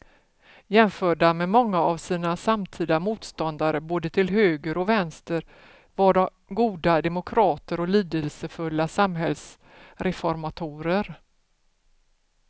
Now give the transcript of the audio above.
Jämförda med många av sina samtida motståndare både till höger och vänster var de goda demokrater och lidelsefulla samhällsreformatorer.